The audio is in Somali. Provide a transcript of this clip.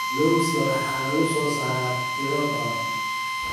Lawska waxaa lagu soo saaraa tiro badan.